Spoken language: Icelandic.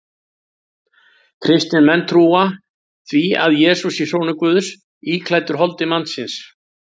Kristnir menn trúa því að Jesús sé sonur Guðs íklæddur holdi manns.